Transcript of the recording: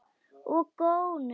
Og gónir.